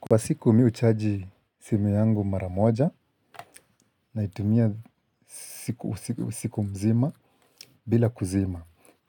Kwa siku mimi huchaji simu yangu mara moja naitumia siku mzima bila kuzima